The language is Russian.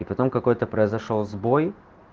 потом какой-то произошёл сбой